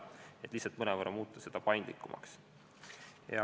Seda tahetakse lihtsalt mõnevõrra paindlikumaks muuta.